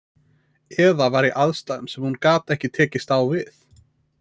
Eða var í aðstæðum sem hún gat ekki tekist á við.